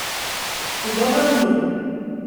Ugovorov ni.